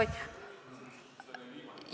Oih!